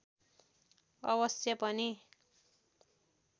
अवश्य पनि